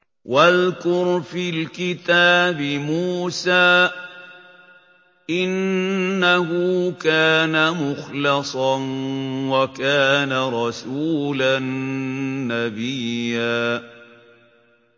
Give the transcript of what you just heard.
وَاذْكُرْ فِي الْكِتَابِ مُوسَىٰ ۚ إِنَّهُ كَانَ مُخْلَصًا وَكَانَ رَسُولًا نَّبِيًّا